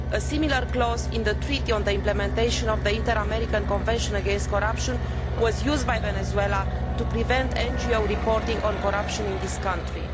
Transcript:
A similar clause in the Treaty on the implementation of the Inter American Convention against Corruption was used by Venezuela to prevent NGOs reporting on corruption in this country.